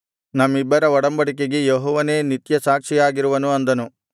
ನಮ್ಮಿಬ್ಬರ ಒಡಂಬಡಿಕೆಗೆ ಯೆಹೋವನೇ ನಿತ್ಯ ಸಾಕ್ಷಿಯಾಗಿರುವನು ಅಂದನು